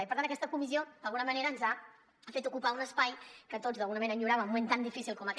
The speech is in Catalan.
i per tant aquesta comissió ens ha fet ocupar un espai que tots d’alguna manera enyoràvem en un moment tan difícil com aquest